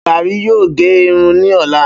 Barry yoo ge irun ni ọla